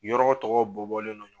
Yɔrɔ tɔgɔ bɔ bɔlen nɔ